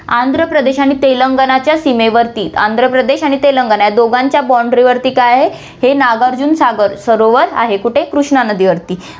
आंध्रप्रदेश आणि तेलंगणाच्या सीमेवरती, आंध्रप्रदेश आणि तेलंगणा या दोघांच्या boundary वरती हे काय आहे, हे नागार्जुन सागर सरोवर आहे, कुठे, कृष्णा नदीवरती